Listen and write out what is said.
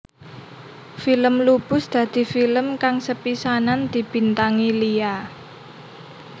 Film Lupus dadi film kang sepisanan dibintangi Lia